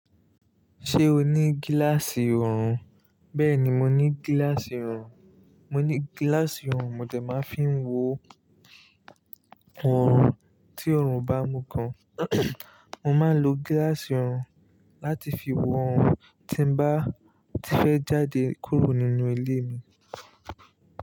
Ṣé o ní gíláàsì ọrùn? Bẹ́ẹ̀ni, mo ní gíláàsì ọrùn. Mo ní gíláàsì ọrùn mo dẹ máa fi ń wo ọrùn tí ọrùn bá mu gan. Mo máa ń lo gíláàsì ọrùn láti fi wo ọrùn tí n bá ti fẹ́ jáde kúrò nínú ilé mi.